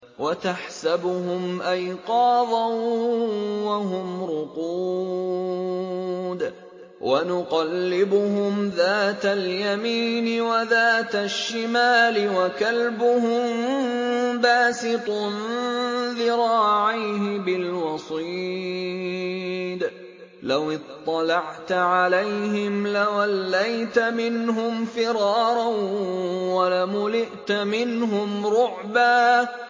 وَتَحْسَبُهُمْ أَيْقَاظًا وَهُمْ رُقُودٌ ۚ وَنُقَلِّبُهُمْ ذَاتَ الْيَمِينِ وَذَاتَ الشِّمَالِ ۖ وَكَلْبُهُم بَاسِطٌ ذِرَاعَيْهِ بِالْوَصِيدِ ۚ لَوِ اطَّلَعْتَ عَلَيْهِمْ لَوَلَّيْتَ مِنْهُمْ فِرَارًا وَلَمُلِئْتَ مِنْهُمْ رُعْبًا